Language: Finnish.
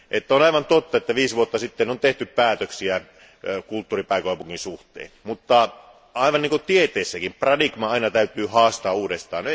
on aivan totta, että viisi vuotta sitten on tehty päätöksiä kulttuuripääkaupungista, mutta aivan niin kuin tieteessäkin paradigma aina täytyy haastaa uudestaan.